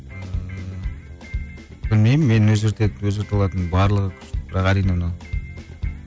ыыы білмеймін мен ол жерде өзгерте алатын барлығы әрине мынау